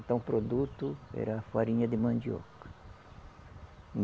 Então o produto era farinha de mandioca.